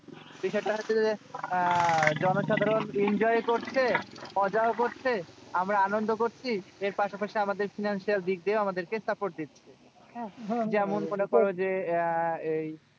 বিষয়টা হচ্ছে যে আহ জনসাধারণ enjoy করছে। মজাও করছে আমরা আনন্দ করছি। এর পাশাপাশি আমাদের financial দিক দিয়েও আমাদেরকে support দিচ্ছে। হ্যাঁ? যেমন মনে করো যে আহ এই